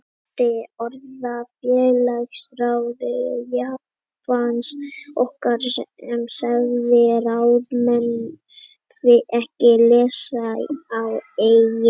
Ég minnist orða félagsráðgjafans okkar sem sagði ráðamenn ekki læsa á eigin lög.